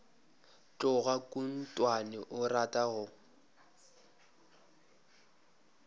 tloga khunkhwane o rata go